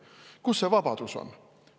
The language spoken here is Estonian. Kus see vabadus on?